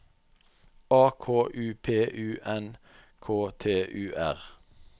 A K U P U N K T U R